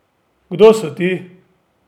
Kdo so ti?